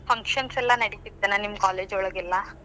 Functions ಎಲ್ಲಾ ನಡಿತೀತ್ತೇನ್ ನಿಮ್ college ಒಳಗೆಲ್ಲಾ?